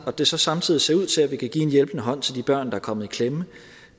det så samtidig ser ud til at vi kan give en hjælpende hånd til de børn der er kommet i klemme